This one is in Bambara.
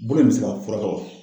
Mun de bɛ se ka fura tɔgɔ?